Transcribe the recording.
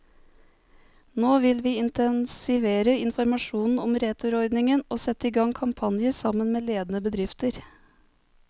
Nå vil vi intensivere informasjonen om returordningen og sette i gang kampanjer, sammen med ledende bedrifter.